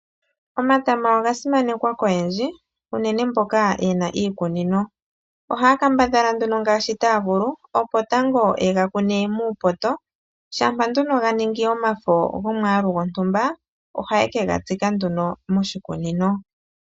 Omatama oga simanekwa koyendji unene mboka yena iikunino, oha ya kambadhala nduno ngaashi taya vulu opo tango ye ga kune muupoto, shampa nduno ga ningi omafo gomwaalu gwontumba ohaye ke ga tsika nduno moshikunino.